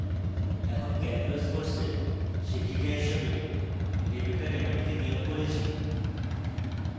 এখন calculus কোর্সের শিক্ষিকা হিসাবে rebecca raymond কে নিয়োগ করি